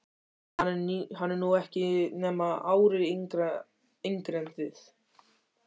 Hann er nú ekki nema ári yngri en þið.